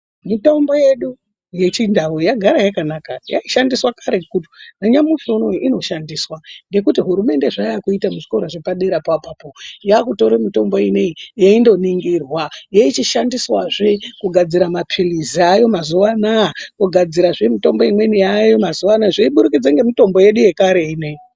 Mitombo yedu yechindau yagara yakanaka. Yaishandiswa karetu nanyamushinunowu inoshandiswa ngekuti hurumende zvayakuita kuzvikora zvepaderapo apapo yakutore mitombo ineyi yendoningirwa yeichishandiswazve kugadzira mapilizi ayo mazuwa anaya, kugadzirazve mitombo imweni yaayo mazuwa anaya zveyiburikudza ngemitombo yedu yekare ineyi.